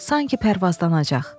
Sanki pərvazlanacaq.